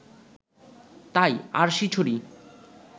তাই আরশিছড়ি